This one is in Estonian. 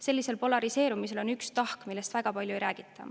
Sellisel polariseerumisel on üks tahk, millest väga palju ei räägita.